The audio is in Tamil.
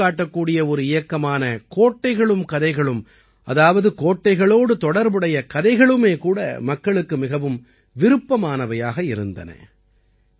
இதை எடுத்துக் காட்டக்கூடிய ஒரு இயக்கமான கோட்டைகளும் கதைகளும் அதாவது கோட்டைகளோடு தொடர்புடைய கதைகளுமே கூட மக்களுக்கு மிகவும் விருப்பமானவையாக இருந்தன